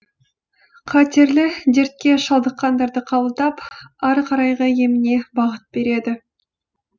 қатерлі дертке шалдыққандарды қабылдап ары қарайғы еміне бағыт береді